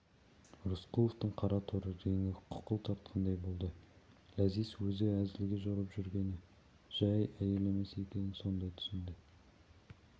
рысқұловтың қараторы реңі қуқыл тартқандай болды ләзиз өзі әзілге жорып жүргені жай әйел емес екенін сонда түсінді